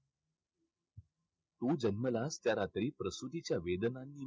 तू जन्मालास त्या रात्री प्रसुतीच्या वेदनांनी